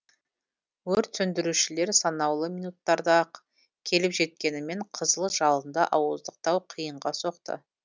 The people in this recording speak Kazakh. өрт сөндірушілер санаулы минуттарда ақ келіп жеткенімен қызыл жалынды ауыздықтау қиынға соқты